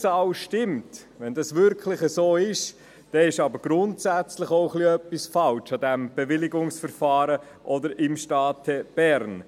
» Stimmt diese Zahl wirklich, ist aber grundsätzlich etwas falsch an diesem Bewilligungsverfahren oder im Staate Bern.